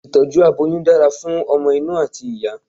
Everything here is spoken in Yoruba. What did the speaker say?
itọju aboyún dára fún ọmọ inú ati ìyá